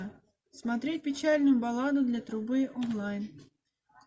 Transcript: смотреть печальную балладу для трубы онлайн